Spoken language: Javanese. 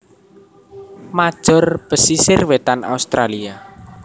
major pesisir wétan Australia